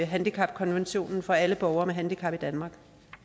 handicapkonventionen for alle borgere med handicap i danmark